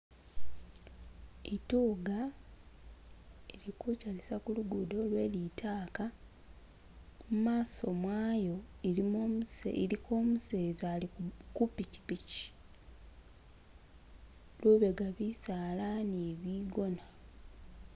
Ituga ili kuchalisa kulugudo lwe litaaka mumaso mwayo iliko umuseza ali kupikipiki lubega bisaala ni bigona.